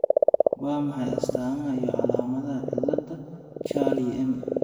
Waa maxay astamaha iyo calaamadaha cilada Charlie M